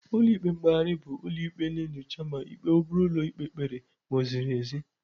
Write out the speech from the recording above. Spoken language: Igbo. Ụlọ ikpe mkpegharị bụ ụlọ ikpe na-enyocha ma ikpe obere ụlọ ikpe kpere ma o ziri ezi.